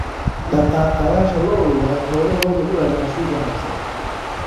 Dhaqaaqayaasha lo'du waxay xoolahooda u raadiyaan suuq wanaagsan.